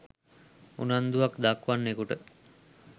උනන්දුවක් දක්වන්නෙකුට